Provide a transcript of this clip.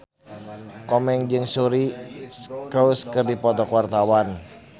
Komeng jeung Suri Cruise keur dipoto ku wartawan